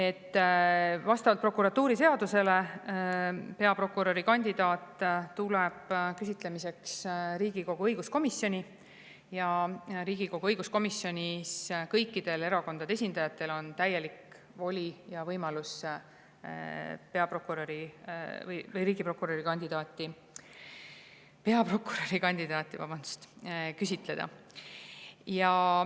Vastavalt prokuratuuriseadusele tuleb peaprokuröri kandidaat küsitlemiseks Riigikogu õiguskomisjoni ja Riigikogu õiguskomisjonis on kõikidel erakondade esindajatel täielik voli ja võimalus peaprokurörikandidaati küsitleda.